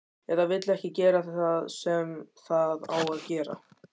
Eða vill ekki gera það sem það á að gera.